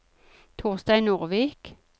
Torstein Nordvik